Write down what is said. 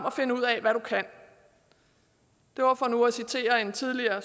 at finde ud af hvad du kan det var for nu at citere en tidligere